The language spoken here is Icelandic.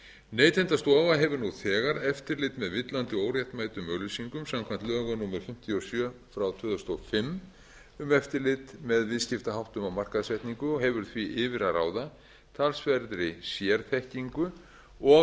neytendastofa hefur nú þegar eftirlit með villandi og óréttmætum auglýsingum samkvæmt lögum númer fimmtíu og sjö tvö þúsund og fimm um eftirlit með viðskiptaháttum og markaðssetningu og hefur því yfir að ráða talsverðri sérþekkingu og